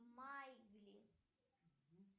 майбли